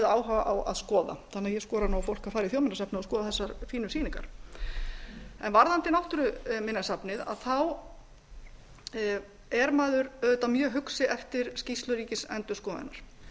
áhuga á að skoða þannig að ég skora nú á fólk að fara í þjóðminjasafnið og skoða þessar fínu sýningar varðandi náttúruminjasafnið er maður auðvitað mjög hugsi eftir skýrslu ríkisendurskoðunar